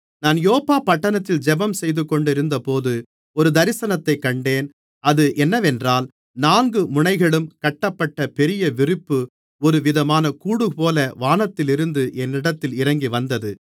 நான் யோப்பா பட்டணத்தில் ஜெபம் செய்துகொண்டிருந்தபோது ஒரு தரிசனத்தைக் கண்டேன் அது என்னவென்றால் நான்கு முனைகளும் கட்டப்பட்ட பெரிய விரிப்பு ஒருவிதமான கூடுபோல வானத்திலிருந்து என்னிடத்தில் இறங்கிவந்தது